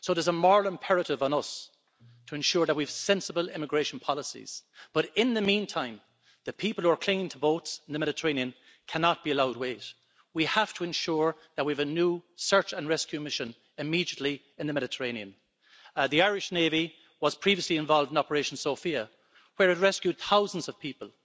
So there's a moral imperative on us to ensure that we have sensible immigration policies but, in the meantime, the people who are clinging to boats in the Mediterranean cannot be allowed to wait. We have to ensure that we have a new search and rescue mission immediately in the Mediterranean. The Irish navy was previously involved in Operation Sophia, where it rescued thousands of people.